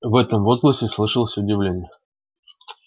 в этом возгласе слышалось удивление